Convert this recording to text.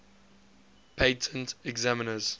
patent examiners